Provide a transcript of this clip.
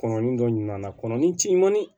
Kɔnɔnin dɔ ɲina na kɔnɔnin cɛ ɲumanin